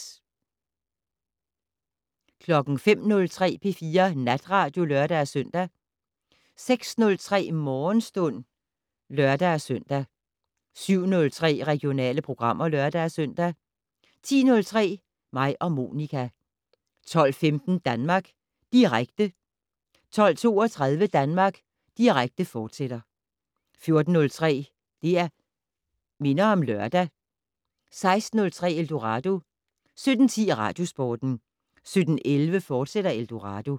05:03: P4 Natradio (lør-søn) 06:03: Morgenstund (lør-søn) 07:03: Regionale programmer (lør-søn) 10:03: Mig og Monica 12:15: Danmark Direkte 12:32: Danmark Direkte, fortsat 14:03: Det' Minder om Lørdag 16:03: Eldorado 17:10: Radiosporten 17:11: Eldorado, fortsat